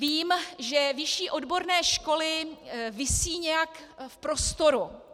Vím, že vyšší odborné školy visí nějak v prostoru.